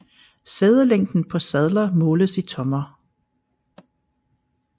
Sædelængden på sadler måles i tommer